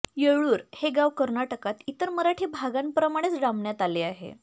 येळ्ळूर हे गाव कर्नाटकात इतर मराठी भागांप्रमाणेच डांबण्यात आले आहे